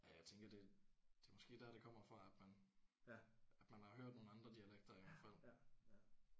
Ja jeg tænker det det er måske der det kommer fra at man at man har hørt nogle andre dialekter i hvert fald